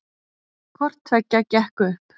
Hvorttveggja gekk upp